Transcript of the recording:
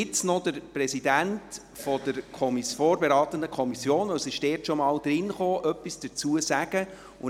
– Jetzt wird noch der Präsident der vorberatenden Kommission etwas dazu sagen, weil das Geschäft dort bereits behandelt wurde.